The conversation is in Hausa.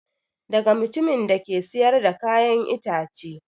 Daga mutumin da ke siyar da kayan ita ce